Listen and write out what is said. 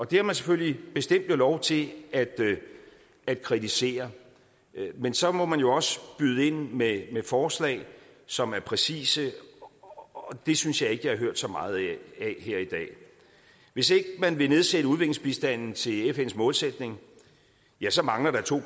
det har man selvfølgelig bestemt lov til at kritisere men så må man jo også byde ind med forslag som er præcise og det synes jeg ikke jeg har hørt så meget af her i dag hvis ikke man vil nedsætte udviklingsbistanden til fns målsætning ja så mangler der to